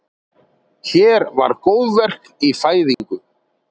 Hér var góðverk í fæðingu.